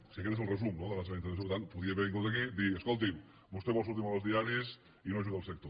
sí aquest és el resum no de la seva intervenció per tant podia haver vingut aquí dir escolti’m vostè vol sortir molt als diaris i no ajuda el sector